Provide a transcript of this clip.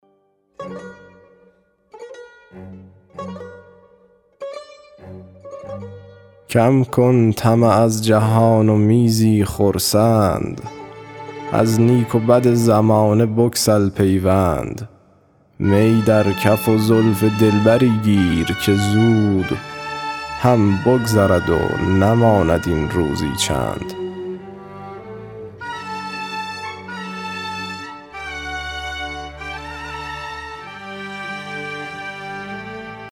کم کن طمع از جهان و می زی خرسند از نیک و بد زمانه بگسل پیوند می در کف و زلف دلبری گیر که زود هم بگذرد و نماند این روزی چند